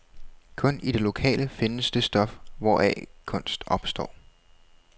Kun i det lokale findes det stof, hvoraf kunst opstår.